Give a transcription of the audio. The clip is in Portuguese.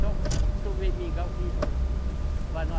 Só tomei mingau que enjoei, para não